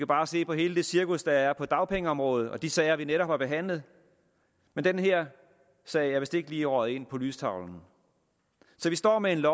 bare se på hele det cirkus der er på dagpengeområdet og de sager vi netop har behandlet men den her sag er vist ikke lige røget ind på lystavlen så vi står med et